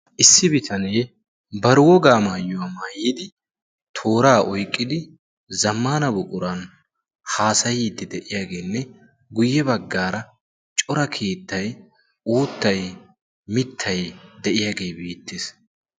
Issi bitanee bari wogaa maayyuwaa maayyidi tooraa oyqqidi zammana buquran haasayiiddi de'iyaageenne guyye baggaara cora keettay uuttay mittay de'iyaagee biittees.